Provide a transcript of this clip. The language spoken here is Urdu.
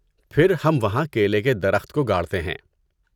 پھر، ہم وہاں کیلے کے درخت کو گاڑتے ہیں۔